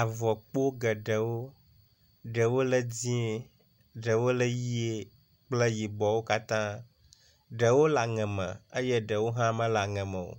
Avɔkpo geɖewo, ɖewo le dzɛ̃, eɖwo le ʋɛ̃ kple yibɔwo katã, ɖewo le aŋe me eye ɖewo hã mele aŋe me o.